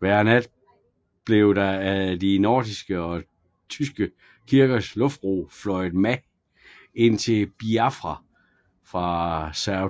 Hver nat blev der ad de nordiske og tyske kirkers luftbro fløjet mad ind til Biafra fra Sao